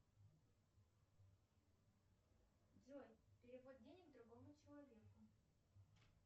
джой перевод денег другому человеку